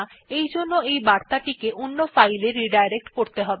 তারজন্য সেগুলি অন্য ফাইল এ রিডাইরেক্ট করতে হবে